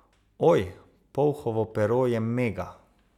Oj, polhovo pero je mega.